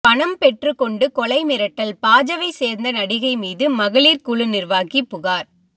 பணம் பெற்றுக்கொண்டு கொலை மிரட்டல் பாஜவை சேர்ந்த நடிகை மீது மகளிர் குழு நிர்வாகி புகார்